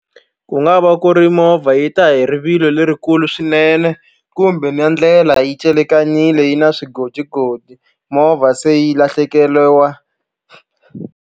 Ku nga va ku ri movha yi ta hi rivilo lerikulu swinene kumbe na ndlela yi celekanile yi na swigodigodi movha se yi lahlekeriwa.